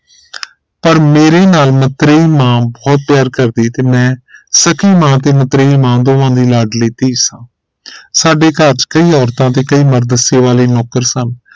ਪਰ ਮੇਰੇ ਨਾਲ ਮਤਰੇਈ ਮਾਂ ਬਹੁਤ ਪਿਆਰ ਕਰਦੀ ਤੇ ਮੈਂ ਸਕੀ ਮਾਂ ਤੇ ਮਤਰੇਈ ਮਾਂ ਦੋਵਾਂ ਦੀ ਲਾਡਲੀ ਧੀ ਸਾਂ ਸਾਡੇ ਘਰ ਚ ਕਈ ਔਰਤਾਂ ਤੇ ਕਈ ਮਰਦ ਸੇਵਾ ਲਈ ਨੌਕਰ ਸਨ